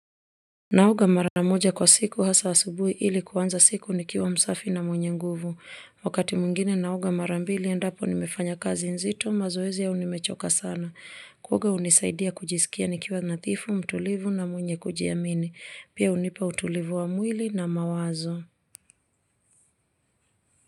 Naoga mara moja kwa siku hasa asubuhi ili kuanza siku nikiwa msafi na mwenye nguvu. Wakati mwingine naoga mara mbili endapo nimefanya kazi nzito, mazoezi au nimechoka sana kuoga hunisaidia kujisikia nikiwa nathifu, mtulivu na mwenye kujiamini. Pia hunipa utulivu wa mwili na mawazo.